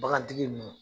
Bagantigi ninnu